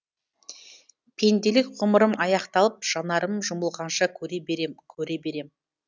пенделік ғұмырым аяқталып жанарым жұмылғанша көре берем көре берем